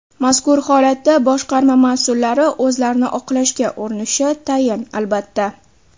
Mazkur holatda boshqarma mas’ullari o‘zlarini oqlashga urinishi tayin, albatta.